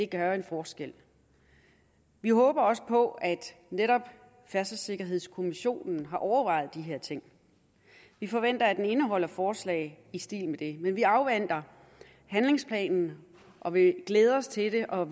gøre en forskel vi håber også på at færdselssikkerhedskommissionen netop har overvejet de her ting vi forventer at rapporten indeholder forslag i stil med det men vi afventer handlingsplanen og vi glæder os til det og